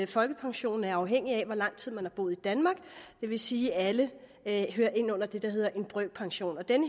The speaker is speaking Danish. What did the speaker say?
folkepensionen er afhængig af hvor lang tid man har boet i danmark det vil sige at alle hører ind under det der hedder en brøkpension den